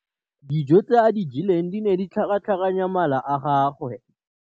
Dijô tse a di jeleng di ne di tlhakatlhakanya mala a gagwe.